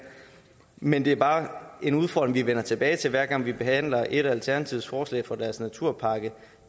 men det er bare en udfordring vi vender tilbage til hver gang vi behandler et af alternativets forslag fra deres naturpakke